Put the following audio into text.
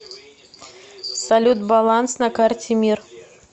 салют баланс на карте мир